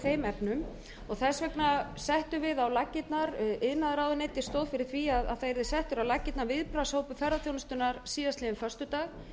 þeim efnum þess vegna settum við á laggirnar iðnaðarráðuneytið stóð fyrir því að það yrði settur á laggirnar viðbragðshópur ferðaþjónustunnar síðastliðinn föstudag